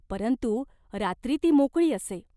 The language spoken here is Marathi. परंतु रात्री ती मोकळी असे.